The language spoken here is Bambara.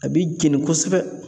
A b'i jɛni kosɛbɛ.